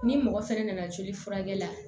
Ni mɔgɔ fɛnɛ nana joli furakɛ la